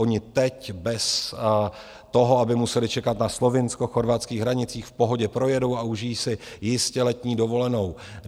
Oni teď bez toho, aby museli čekat na slovinsko-chorvatských hranicích, v pohodě projedou a užijí si jistě letní dovolenou.